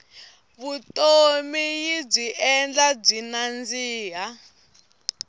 vutomi yibyi endla byi nandzika